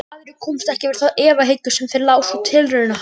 Aðrir komust ekki yfir þá efahyggju sem þeir lásu úr tilraunum hans.